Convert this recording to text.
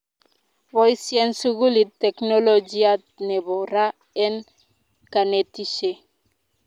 boisien sukulit teknolojiat nebo ra en kanetishee